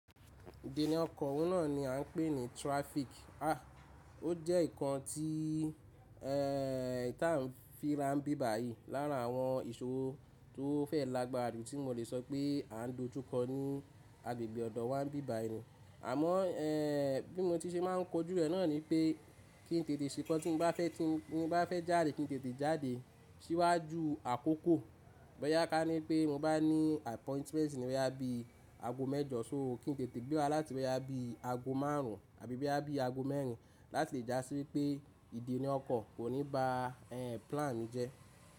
Ìdíńà ọkọ̀ náà ni a ń pè ní traffic. À, ó jẹ́ nǹkan tí, ẹ, tá ń fi rá bíbààyì lára àwọn ìṣòro tó fẹ̀ lágbára ju, tí mò lè sọ pé à ń dojú kọ ní agbègbè ọ̀dọ̀ wa ń bíbàyì ni. Àmọ́, ẹ, bí mo ti ṣe má ń kojú rẹ̀ náà ni pé, kí n tètè ṣe kan tí mo bá fẹ́ jáde, kí n tètè jáde síwájú àkókò. Bọ́yá ká ní pé mo bá ní appointment níbi aago mẹ́jọ, so kí n tètè gbéra láti bẹ̀rẹ̀ aago márùn tàbí bẹ̀rẹ̀ aago mẹ́rin láti lè já sí wípé Ìdíńà ọkọ̀ kò ní ba, e, plan mi jẹ́.